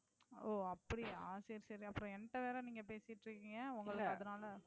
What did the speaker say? ஓ அப்படியா சரி சரி அப்புறம் என்கிட்ட வேற நீங்க பேசிட்டு இருக்கீங்க உங்களுக்கு அதனால